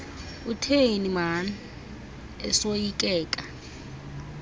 utheni maan esoyikeka